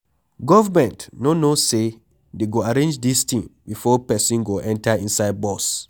Government no know say dey go arrange dis thing before person go enter inside bus.